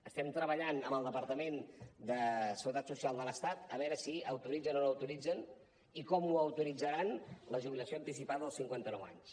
estem treballant amb el departament de seguretat social de l’estat a veure si autoritzen o no autoritzen i com ho autoritzaran la jubilació anticipada als cinquanta nou anys